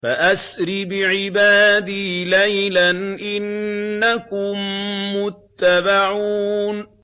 فَأَسْرِ بِعِبَادِي لَيْلًا إِنَّكُم مُّتَّبَعُونَ